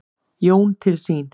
Jón til sín.